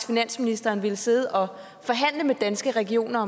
finansministeren ville sidde og forhandle med danske regioner